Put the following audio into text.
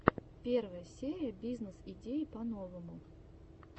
первая серия бизнес идеи по новому